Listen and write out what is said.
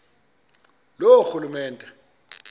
loorhulumente